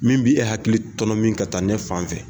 Min bi e hakili tɔnɔmin ka taa ne fan fɛ.